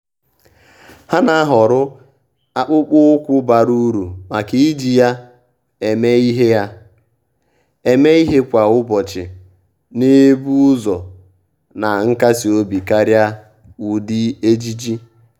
há nà-àhọ́rọ́ akpụkpọ́ụkwụ́ bara uru màkà iji ya èmé ìhè ya èmé ìhè kwa ụ́bọ̀chị̀ nà-ébù ụ́zọ̀ na nkasi obi kàrị́a ụ́dị́ ejiji.